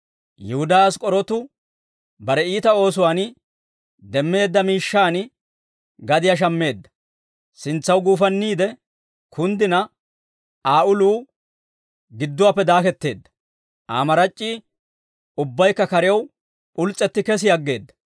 Yihudaa Ask'k'orootu bare iita oosuwaan demmeedda miishshaan gadiyaa shammeedda; sintsaw guufanniide kunddina, Aa uluu gidduwaappe daaketteedda; Aa marac'c'ii ubbaykka karew p'uls's'etti kesi aggeedda.